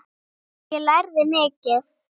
Ég lærði mikið.